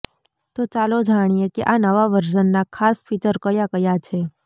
તો ચાલો જાણીએ કે આ નવા વર્ઝનના ખાસ ફીચર કયા કયા છે